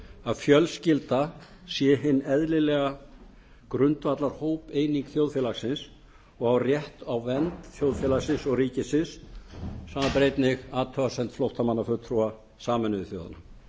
að fjölskyldan sé hin eðlilega grundvallarhópeining þjóðfélagsins og á rétt á vernd þjóðfélagsins og ríkisins samanber einnig athugasemd flóttamannafulltrúa sameinuðu þjóðanna